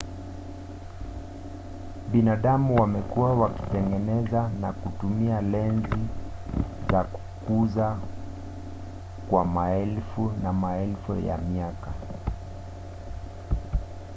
binadamu wamekuwa wakitengeneza na kutumia lenzi za kukuza kwa maelfu na maelfu ya miaka